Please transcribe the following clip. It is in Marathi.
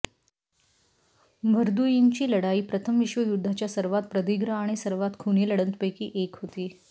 व्हर्दुइनची लढाई प्रथम विश्वयुद्धाच्या सर्वात प्रदीर्घ आणि सर्वात खुनी लढतंपैकी एक होती